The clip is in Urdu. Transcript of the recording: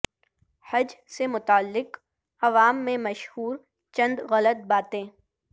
حج سے متعلق عوام میں مشہور چند غلط باتیں